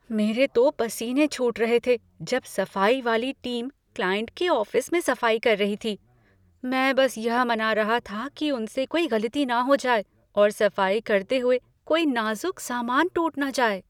मेरे तो पसीने छूट रहे थे जब सफाई वाली टीम क्लाइंट के ऑफिस में सफाई कर रही थी, मैं बस यह मना रहा था कि उनसे कोई गलती न हो जाए और सफाई करते हुए कोई नाज़ुक सामान टूट न जाए।